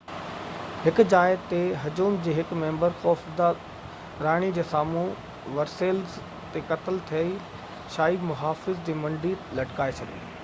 هڪ جاءِ تي هجوم جي هڪ ميمبر خوف زده راڻي جي سامهون ورسيليز تي قتل ٿيل شاهي محافظ جي منڍي لٽڪائي ڇڏي